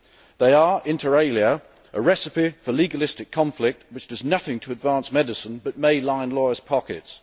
They are, inter alia, a recipe for legalistic conflict which does nothing to advance medicine but may line lawyers' pockets.